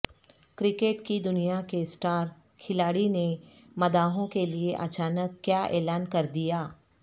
cricket کی دنیا کے سٹار کھلاڑی نے مداحوں کیلئے اچانک کیا اعلان کردیا